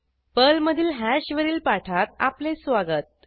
पर्लमधील हॅश वरील पाठात आपले स्वागत